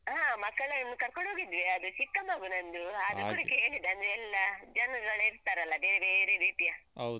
ಹ ಮಕ್ಕಳನ್ನು ಕರ್ಕೋಂಡು ಹೋಗಿದ್ವಿ ಅದು ಚಿಕ್ಕಮಗು ನಂದು ಹಾಗೆ ಆದ್ರೂ ಕೂಡ ಕೇಳಿದೆ ಅಂದ್ರೆ ಎಲ್ಲ ಜನಗಳಿರ್ತಾರಲ್ಲ ಬೇರೆ ಬೇರೆ ರೀತಿಯ.